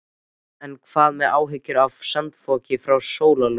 En hvað með áhyggjur af sandfoki frá Hálslóni?